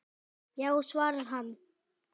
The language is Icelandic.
Já svarar hann.